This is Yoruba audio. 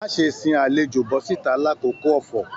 Má ṣe sìn àlejò bọ̀sìta l'akoko ọfọ̀!